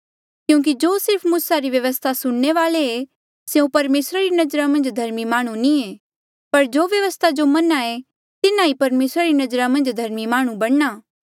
क्यूंकि जो सिर्फ मूसा री व्यवस्था सुणने वाले ऐें स्यों परमेसरा री नजरा मन्झ धर्मी माह्णुं नी ऐें पर जो व्यवस्था जो मन्हा ऐें तिन्हा ई परमेसरा री नजरा मन्झ धर्मी माह्णुं बणना